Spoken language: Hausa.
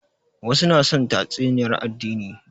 Wasu na son tatsuniyar addini